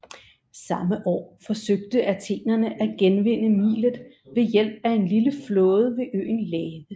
Samme år forsøgte athenerne at genvinde Milet ved hjælp af en lille flåde ved øen Lade